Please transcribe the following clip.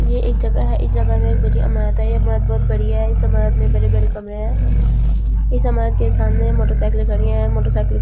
ये एक जगह है इस जगह में एक बड़ी इमारत है ये इमारत बहोत बड़ी है इस इमारत में बड़े-बड़े कमरे हैं इस इमारत के सामने मोटरसाइकिले खड़ी है मोटरसाइकिल --